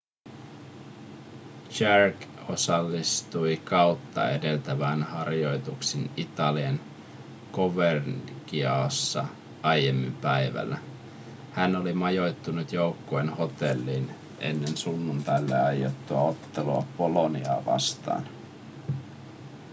jarque osallistui kautta edeltävään harjoituksiin italian covercianossa aiemmin päivällä hän oli majoittunut joukkueen hotelliin ennen sunnuntaille aiottua ottelua boloniaa vastaan